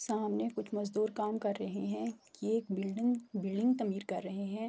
سامنے کچھ مجدور کام کر رہے ہے کی ایک بلڈنگ بلڈنگ تعمیر کر رہے ہے۔